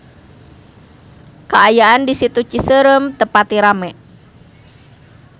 Kaayaan di Situ Cicerem teu pati rame